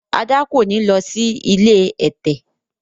Ada kọ ní ló sì ilé ẹ̀tẹ̀.